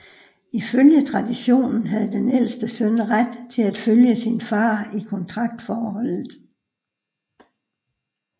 Ifølge traditionen havde den ældste søn ret til at følge sin far i kontraktforholdet